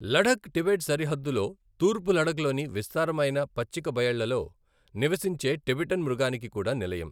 Ladakh Tibet సరిహద్దులో తూర్పు లడఖ్లోని విస్తారమైన పచ్చికబయళ్ళలో నివసించే టిబెటన్ మృగానికి కూడా నిలయం.